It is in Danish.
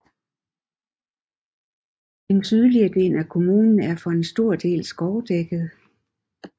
Den sydlige del af kommunen er for en stor del skovdækket